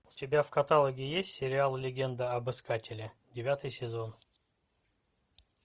у тебя в каталоге есть сериал легенда об искателе девятый сезон